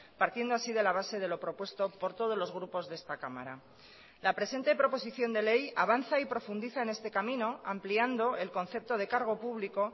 partiendo así de la base de lo propuesto por todos los grupos de esta cámara la presente proposición de ley avanza y profundiza en este camino ampliando el concepto de cargo público